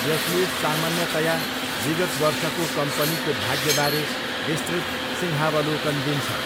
यसले सामान्यतया विगत वर्षको कम्पनीको भाग्यबारे विस्तृत सिंहावलोकन दिन्छ।